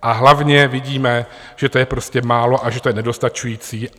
A hlavně vidíme, že to je prostě málo a že to je nedostačující.